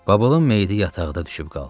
Babulun meyidi yataqda düşüb qaldı.